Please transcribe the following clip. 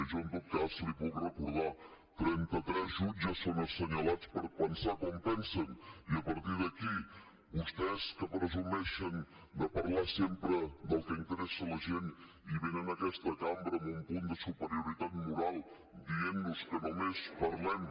jo en tot cas li puc recordar trenta tres jutges són assenyalats per pensar com pensen i a partir d’aquí vostès que presumeixen de parlar sempre del que interessa a la gent i venen a aquesta cambra amb un punt de superioritat moral dient nos que només parlem